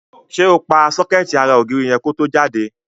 Ṣé o pa sọ́kẹ́ẹ̀tì ara ògiri yẹn ko tó jáde?